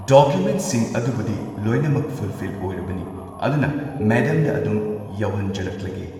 ꯗꯣꯀꯨꯃꯦꯟꯠꯁꯤꯡ ꯑꯗꯨꯕꯨꯗꯤ ꯂꯣꯏꯅꯃꯛ ꯐꯨꯜꯐꯤꯜ ꯑꯣꯏꯔꯕꯅꯤ ꯑꯗꯨꯅ ꯃꯦꯗꯥꯝꯗ ꯑꯗꯨꯝ ꯌꯧꯍꯟꯖꯔꯛꯂꯒꯦ꯫